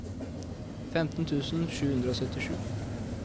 femten tusen sju hundre og syttisju